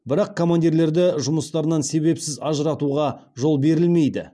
бірақ командирлерді жұмыстарынан себепсіз ажыратуға жол берілмейді